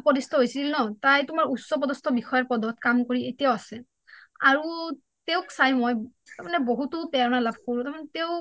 উপদিষ্ট হৈছিল ন তাই টো উচ্চ পদস্থ বিষয়া পদত কাম কৰি এতিয়াও আছে আৰু তেওঁক চাই মই বহুতো প্ৰেৰণা লাভ কৰোঁ তাৰ মানে তেওঁ